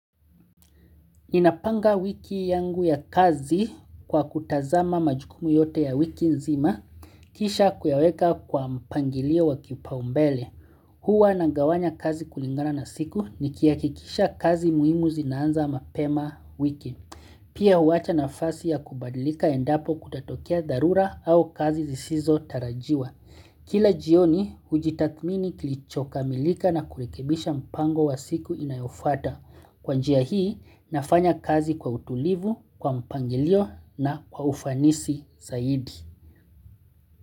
Ninapanga wiki yangu ya kazi kwa kutazama majukumu yote ya wiki nzima, kisha kuyaweka kwa mpangilio wa kipaumbele. Huwa na gawanya kazi kulingana na siku ni kihakikisha kazi muhimu zinaanza mapema wiki. Pia huwacha nafasi ya kubadilika endapo kutatokea darura au kazi zisizo tarajiwa. Kila jioni, ujitakmini kilichoka milika na kurekebisha mpango wa siku inayofwata. Kwa njia hii, nafanya kazi kwa utulivu, kwa mpangilio na kwa ufanisi zaidi.